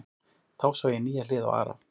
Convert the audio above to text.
Þá sá ég nýja hlið á Ara.